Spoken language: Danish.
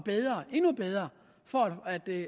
endnu bedre for